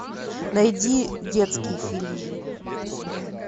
найди детский фильм